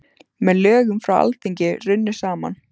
Með lögum frá Alþingi runnu saman